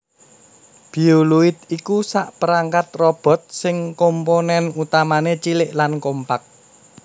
Bioloid iku sakperangkat robot sing komponèn utamané cilik lan kompak